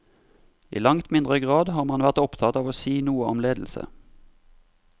I langt mindre grad har man vært opptatt av å si noe om ledelse.